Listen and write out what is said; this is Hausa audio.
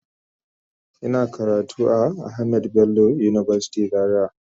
Ina karatu a Ahamed Bello university Zaria